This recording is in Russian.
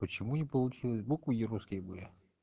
почему не получилось буквы не русские были